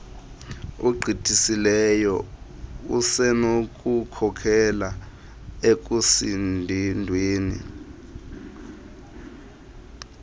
ogqithisileyo usenokukhokelela ekusindweni